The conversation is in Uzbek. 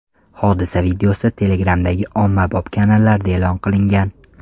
Hodisa videosi Telegram’dagi ommabop kanallarda e’lon qilingan.